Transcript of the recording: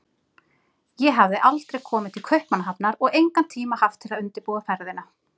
Ég hafði aldrei komið til Kaupmannahafnar og engan tíma haft til að undirbúa ferðina.